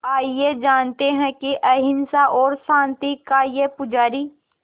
आइए जानते हैं कि अहिंसा और शांति का ये पुजारी